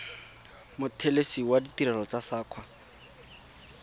mothelesi wa ditirelo tsa saqa